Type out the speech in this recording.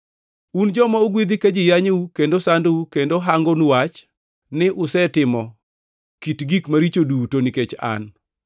“Un joma ogwedhi ka ji yanyou kendo sandou kendo hangonu wach ni usetimo kit gik maricho duto nikech an.